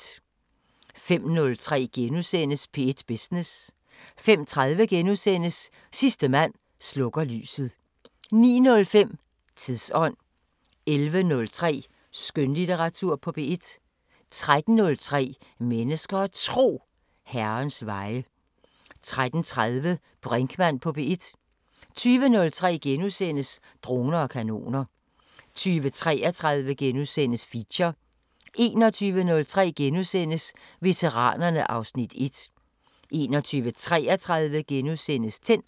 05:03: P1 Business * 05:30: Sidste mand slukker lyset * 09:05: Tidsånd 11:03: Skønlitteratur på P1 13:03: Mennesker og Tro: Herrens veje 13:30: Brinkmann på P1 20:03: Droner og kanoner * 20:33: Feature * 21:03: Veteranerne (Afs. 1)* 21:33: Tændt *